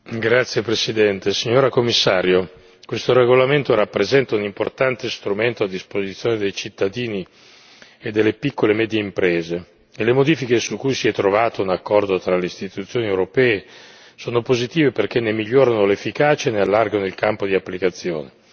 Signora Presidente, onorevoli colleghi, Commissario, questo regolamento rappresenta un importante strumento a disposizione dei cittadini e delle piccole e medie imprese e le modifiche su cui si è trovato un accordo tra le Istituzioni europee sono positive perché ne migliorano l'efficacia e ne allargano il campo di applicazione,